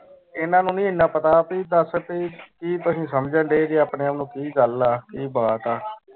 ਐਨਾ ਨੂੰ ਨਾਈ ਐਨਾ ਪਤਾ ਅਸੀਂ ਦਾਸ ਰੁਪਏ ਚੀਜ਼ ਸੰਜੇਨ ਦੇ ਸੀ ਆਪਣੇ ਆਪ ਨੂੰ ਕਿ ਗੱਲ ਹੈ ਕਿ ਬਾਤ ਹੈ